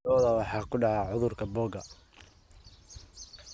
Lo'da waxaa ku dhaca cudurka boogaha.